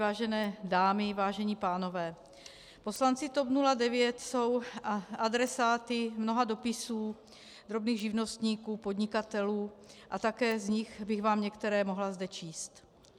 Vážené dámy, vážení pánové, poslanci TOP 09 jsou adresáty mnoha dopisů drobných živnostníků, podnikatelů a také z nich bych vám některé zde mohla číst.